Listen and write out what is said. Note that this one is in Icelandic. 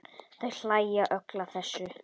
Þau hlæja öll að þessu.